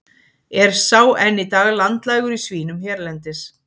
Er sá enn í dag landlægur í svínum hérlendis.